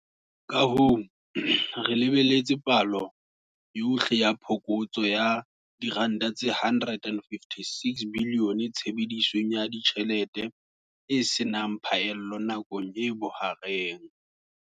Kahoo, re lebelletse palo yohle ya phokotso ya R156 bilione tshebedisong ya ditjhelete e se nang phaello nakong e bohareng.